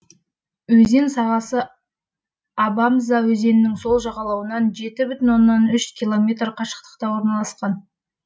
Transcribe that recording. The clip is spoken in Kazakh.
өзен сағасы абамза өзенінің сол жағалауынан километр қашықтықта орналасқан